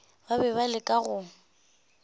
ba be ba leka go